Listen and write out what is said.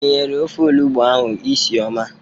Ogiri nyere ofe olugbo ahụ isi ọma.